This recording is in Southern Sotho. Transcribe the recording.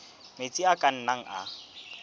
metsi a ka nnang a